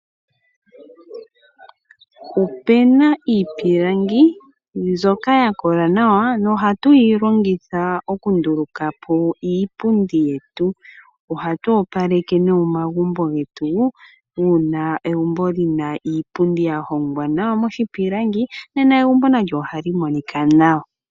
Opu na iipilangi mbyoka ya kola nawa na oha tuyi longitha oku ndulukapo iipundi yetu. Ohatu opaleke nee omagumbo getu, una egumbo li na iipundi ya hongwa nawa miipilangi nena ohali monika nawa.